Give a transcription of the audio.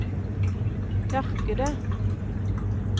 tørkede